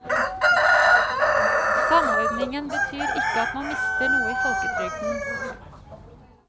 Samordningen betyr ikke at man mister noe i folketrygden.